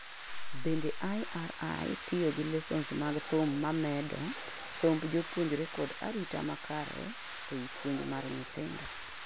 bende IRI tiyo gi lessons mag thum mamedo somb jopuonjre kod arita makare ei puonj mar nyithindo